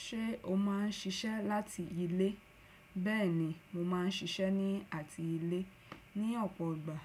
Ṣé o máà ń ṣiṣẹ́ láti ilé? Bẹ́ẹ̀ni mo máà ń ṣiṣẹ́ ní àti ilé. Ni ọ̀pọ̀ ìgbà,